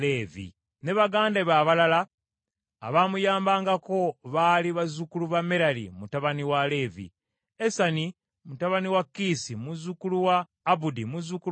Ne baganda be abalala abaamuyambangako baali abazzukulu ba Merali, mutabani wa Leevi, Esani mutabani wa Kiisi, muzzukulu wa Abudi, muzzukulu wa Malluki,